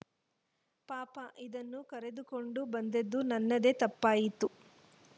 ಪಾಪ ಇದನ್ನು ಕರೆದುಕೊಂಡು ಬಂದದ್ದು ನನ್ನದೇ ತಪ್ಪಾಯ್ತು